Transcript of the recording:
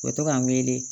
U bɛ to ka n wele